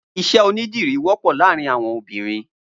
Iṣẹ ónidiri wọpọ làárìn awọn óbìrín